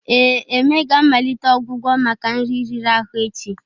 Ee, Eme ga-amalite ọgwụgwọ maka nri riri ahụ echi.